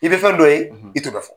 I bɛ fɛn dɔ ye, i t'o bɛ fɔ.